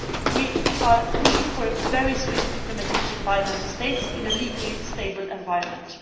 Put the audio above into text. We are pushing for very swift implementation by Member States in a legally stable environment.